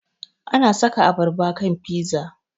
Ana saka abarba kan fiza